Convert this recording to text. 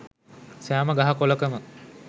සෑම ගහ කොළකම